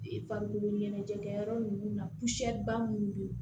E farikolo ɲɛnajɛkɛyɔrɔ ninnu na ba minnu bɛ yen